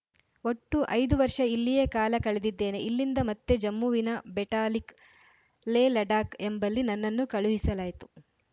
ಒಟ್ಟು ಐದು ವರ್ಷ ಇಲ್ಲಿಯೇ ಕಾಲ ಕಳೆದಿದ್ದೇನೆ ಇಲ್ಲಿಂದ ಮತ್ತೆ ಜಮ್ಮುವಿನ ಬೆಟಾಲಿಕ್‌ ಲೇಲಡಾಕ್‌ ಎಂಬಲ್ಲಿ ನನ್ನನ್ನು ಕಳುಹಿಸಲಾಯಿತು